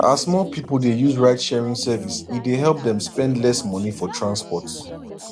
as more people dey use ridesharing service e dey help them spend less money for transport